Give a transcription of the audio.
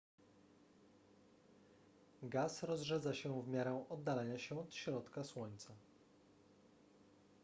gaz rozrzedza się w miarę oddalania się od środka słońca